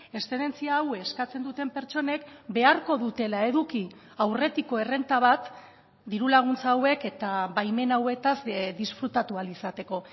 eszedentzia hau eskatzen duten pertsonek beharko dutela eduki aurretiko errenta bat diru laguntza hauek eta baimen hauetaz disfrutatu ahal izateko